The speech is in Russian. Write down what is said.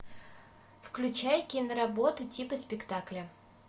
включай киноработу типа спектакля